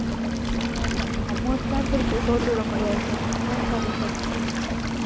அது உங்க Problem amount லாம் திருப்பி போட்டு விட முடியாது Sir நீங்க தான் Sir recharge பண்ணிருக்கீங்க.